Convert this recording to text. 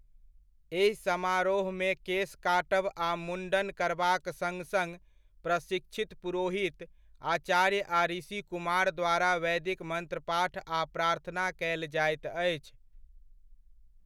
एहि समारोहमे केस काटब आ मुण्डन करबाक सङ्ग सङ्ग प्रशिक्षित पुरोहित, आचार्य आ ऋषिकुमार द्वारा वैदिक मंत्रपाठ आ प्रार्थना कयल जाइत अछि।